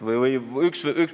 Siiski, üks mõte veel.